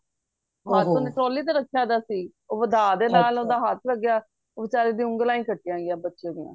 ਹੱਥ ਓਹਨੇ trolly ਤੇ ਰਖਿਆ ਦਾ ਸੀ ਉਹ ਵਧਾ ਦੇ ਨਾਲ ਓਹਦਾ ਹੱਥ ਲਗਿਆ ਬੇਚਾਰੇ ਦੀਆ ਉਂਗਲੀਆਂ ਹੀ ਕੱਟੀ ਗਇਆ ਬੱਚੇ ਦੀਆ